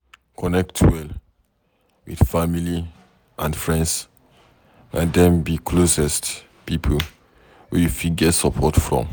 Connect well with family and friends, na dem be d closest pipo wey you fit get support from